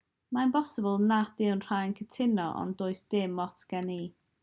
mae'n bosibl nad yw rhai'n cytuno ond does dim ots gen i